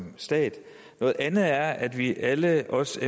stat noget andet er at vi alle os